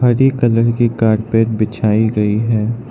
हरी colour की carpet बिछाई गई है।